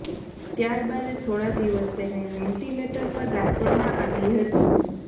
ત્યાર બાદ થોડા દિવસ તેને વેન્ટિલેટર પર રાખવામાં આવી હતી